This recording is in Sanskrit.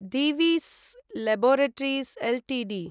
Divis laboratories Ltd